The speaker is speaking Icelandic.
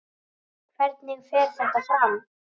Hvernig fer þetta fram?